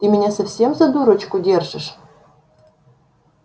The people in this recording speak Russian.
ты меня совсем за дурочку держишь